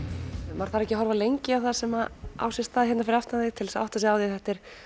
maður þarf ekki að horfa lengi á það sem á sér stað hérna fyrir aftan þig til að átta sig á því að þetta er